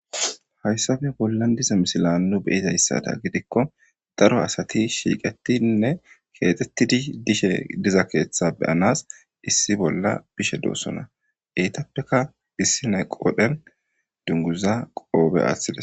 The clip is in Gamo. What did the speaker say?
hayssafe bollan diza misila nu beyizayssada gidikko daro asati shiiqetinne keexxettidi dishe diza keeththa beyanas issi bolla bishe doossona eytappeka bissi nayqoodhen dunguza qoobe aaththidas